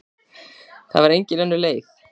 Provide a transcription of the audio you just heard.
Það var engin önnur leið.